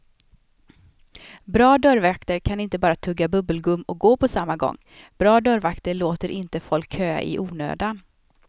Bra dörrvakter kan inte bara tugga bubbelgum och gå på samma gång, bra dörrvakter låter inte folk köa i onödan.